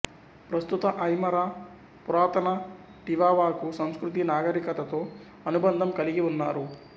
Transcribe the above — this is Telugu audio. ప్రస్తుత ఐమరా పురాతన టివావాకు సంస్కృతి నాగరికతతో అనుబంధం కలిగి ఉన్నారు